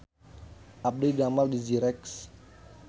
Abdi didamel di Zyrex